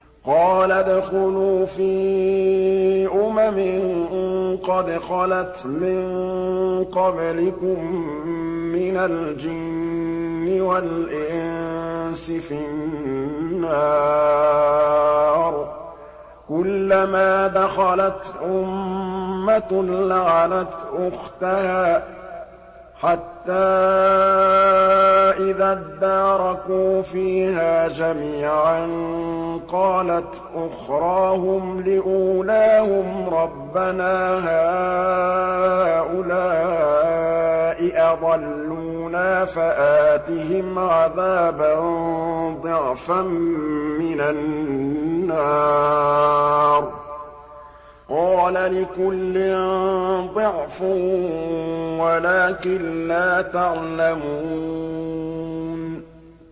قَالَ ادْخُلُوا فِي أُمَمٍ قَدْ خَلَتْ مِن قَبْلِكُم مِّنَ الْجِنِّ وَالْإِنسِ فِي النَّارِ ۖ كُلَّمَا دَخَلَتْ أُمَّةٌ لَّعَنَتْ أُخْتَهَا ۖ حَتَّىٰ إِذَا ادَّارَكُوا فِيهَا جَمِيعًا قَالَتْ أُخْرَاهُمْ لِأُولَاهُمْ رَبَّنَا هَٰؤُلَاءِ أَضَلُّونَا فَآتِهِمْ عَذَابًا ضِعْفًا مِّنَ النَّارِ ۖ قَالَ لِكُلٍّ ضِعْفٌ وَلَٰكِن لَّا تَعْلَمُونَ